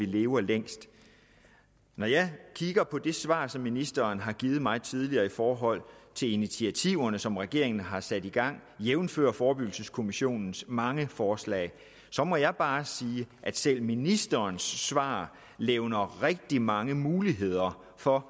lever længst når jeg kigger på det svar som ministeren har givet mig tidligere i forhold til initiativerne som regeringen har sat i gang jævnfør forebyggelseskommissionens mange forslag så må jeg bare sige at selv ministerens svar levner rigtig mange muligheder for